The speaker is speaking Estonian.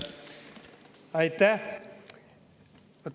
Aitäh!